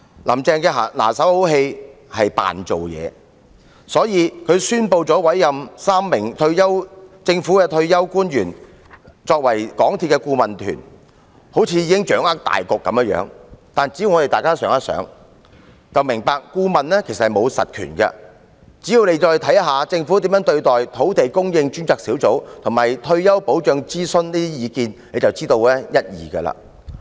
"林鄭"的拿手好戲是假裝工作，所以她宣布委任3名政府退休官員作為港鐵公司的顧問團，猶如已掌握大局，但大家只要想一想便明白，顧問其實沒有實權，再看看政府如何對待土地供應專責小組及退休保障諮詢的意見便可知一二。